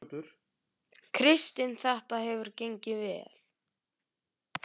Kristinn: Þetta hefur gengið vel?